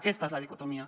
aquesta és la dicotomia